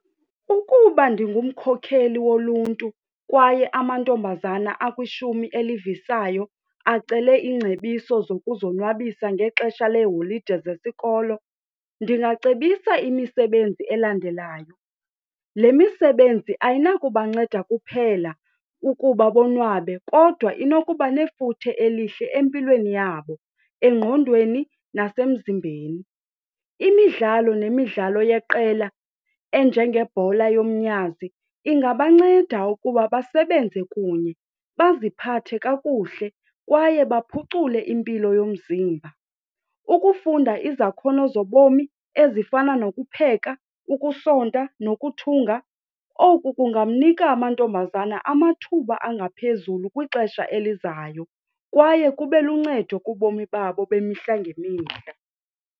Ukuba ndingumkhokheli woluntu kwaye amantombazana akwishumi elivisayo acele iingcebiso zokuzonwabisa ngexesha leeholide zesikolo ndingacebisa imisebenzi elandelayo. Le misebenzi ayinakubanceda kuphela ukuba bonwabe kodwa inokuba nefuthe elihle empilweni yabo, engqondweni nasemzimbeni. Imidlalo nemidlalo yeqela enjengebhola yomnyazi ingabanceda ukuba basebenze kunye baziphathe kakuhle kwaye baphucule impilo yomzimba. Ukufunda izakhono zobomi ezifana nokupheka, ukusonta nokuthunga oku kunganika amantombazana amathuba angaphezulu kwixesha elizayo kwaye kube luncedo kubomi babo bemihla ngemihla.